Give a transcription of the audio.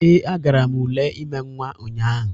Ee, agara m ule ime nnwa ụnyahụ